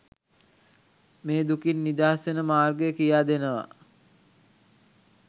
මේ දුකින් නිදහස් වෙන මාර්ගය කියා දෙනවා.